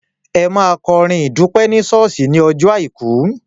Ẹ máa kọrin ìdúpẹ́ ní ṣọ́ọ̀ṣì ní ọjọ́ Àìkú.